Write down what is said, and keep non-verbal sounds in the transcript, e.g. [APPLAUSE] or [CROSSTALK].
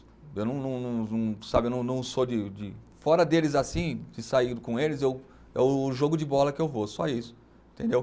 Eu não não não não, sabe eu não não sou de de. Fora deles assim, de sair [UNINTELLIGIBLE] com eles, eu é o jogo de bola que eu vou, só isso. Entendeu